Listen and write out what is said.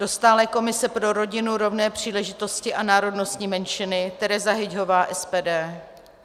Do stálé komise pro rodinu, rovné příležitosti a národnostní menšiny Tereza Hyťhová, SPD.